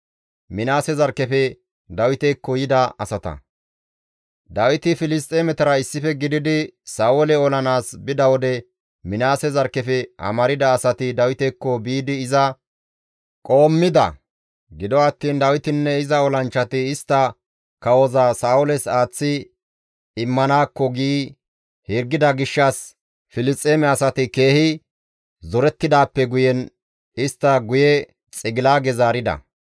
Dawiti Filisxeemetara issife gididi Sa7oole olanaas bida wode Minaase zarkkefe amarda asati Dawitekko biidi iza qoommida; gido attiin, «Dawitinne iza olanchchati istta kawoza Sa7ooles aaththi immanaakko» gi hirgida gishshas Filisxeeme asati keehi zorettidaappe guyen istta guye Xigilaage zaarida.